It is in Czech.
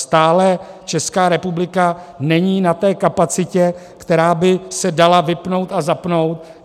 Stále Česká republika není na té kapacitě, která by se dala vypnout a zapnout.